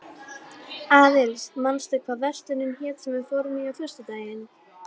Boðum nú Jón biskup utan á vorn fund.